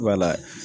Wala